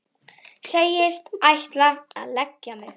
Segist ætla að leggja mig.